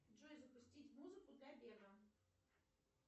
джой запустить музыку для бега